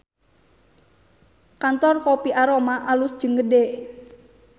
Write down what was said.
Kantor Kopi Aroma alus jeung gede